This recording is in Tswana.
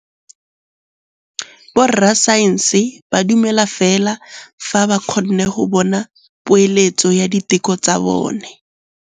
Borra saense ba dumela fela fa ba kgonne go bona poeletsô ya diteko tsa bone.